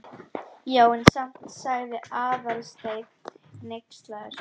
Já, en samt sagði Aðalsteinn hneykslaður.